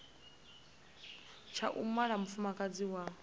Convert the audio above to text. tsha u mala mufumakadzi wa